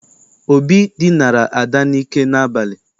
Obi dinara Ada n'ike n'abalị.